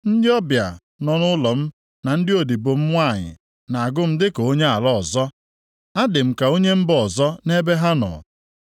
Ndị ọbịa nọ nʼụlọ m na ndị odibo m nwanyị na-agụ m dịka onye ala ọzọ; adị m ka onye mba ọzọ nʼebe ha nọ.